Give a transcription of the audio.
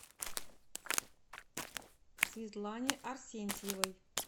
светлане арсентьевой